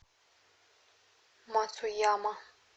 мацуяма